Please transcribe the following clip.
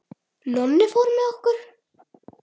Nonni fór með okkur.